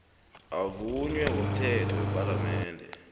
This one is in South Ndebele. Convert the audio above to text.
avunywe ngomthetho wepalamende